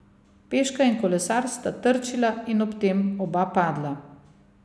Peška in kolesar sta trčila in ob tem oba padla.